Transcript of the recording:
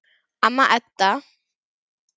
Amma Edda.